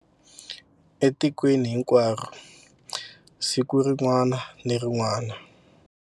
Etikweni hinkwaro siku rin'wana ni rin'wana.